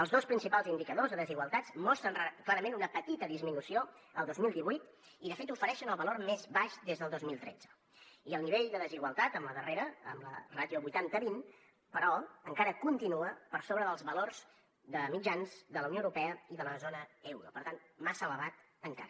els dos principals indicadors de desigualtats mostren clarament una petita disminució el dos mil divuit i de fet ofereixen el valor més baix des del dos mil tretze i el nivell de desigualtat amb la darrera amb la ràtio vuitanta vint però encara continua per sobre dels valors mitjans de la unió europea i de la zona euro per tant massa elevat encara